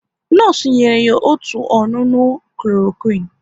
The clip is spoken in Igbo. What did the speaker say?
Nọọsụ nyere ya otu ọṅụṅụ Kloroquine